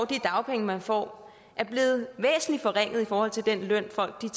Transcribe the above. de dagpenge man får er blevet væsentlig forringet i forhold til den løn folk